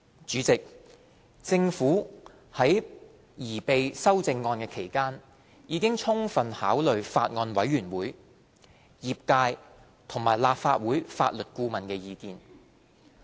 主席，政府在擬備修正案期間，已充分考慮法案委員會、業界和立法會法律顧問的意見。